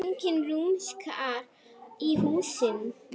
Enginn rumskar í húsinu.